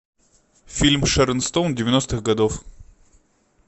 фильм с шэрон стоун девяностых годов